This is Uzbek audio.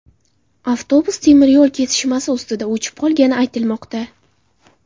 Avtobus temiryo‘l kesishmasi ustida o‘chib qolgani aytilmoqda.